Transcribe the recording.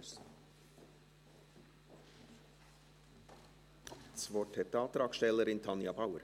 Das Wort hat die Antragstellerin, Tanja Bauer.